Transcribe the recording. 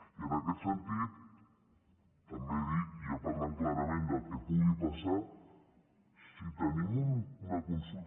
i en aquest sentit també dir i ja parlant clarament del que pugui passar si tenim una consulta